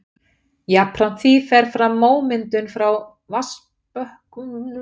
Jafnframt því fer fram mómyndun frá vatnsbökkunum og heldur þessu áfram uns vatnsstæðið fyllist.